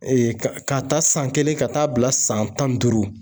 k'a ta san kelen ka taa bila san tan ni duuru